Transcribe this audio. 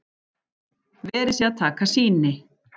Verið sé að taka sýni